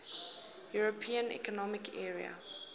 european economic area